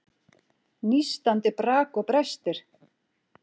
Nístandi brak og brestir.